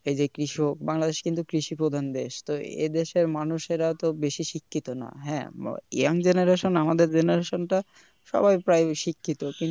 এই যে কৃষক বাংলাদেশ কিন্তু কৃষি প্রধান দেশ তো এদেশের মানুষেরা তো বেশি শিক্ষিত না হ্যা Young Generation আমাদের generation টা সবাই প্রায় শিক্ষিত